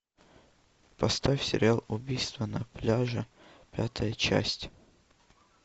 поставь сериал убийство на пляже пятая часть